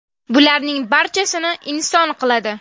Bularning barchasini inson qiladi.